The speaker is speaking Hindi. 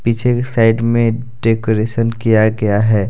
ये साइड में डेकोरेशन किया गया है।